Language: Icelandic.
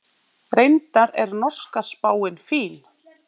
Reyndar er norska spáin fín.